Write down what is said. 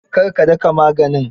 Kar ka daka maganin.